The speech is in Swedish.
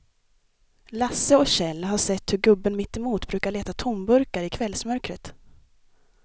Lasse och Kjell har sett hur gubben mittemot brukar leta tomburkar i kvällsmörkret.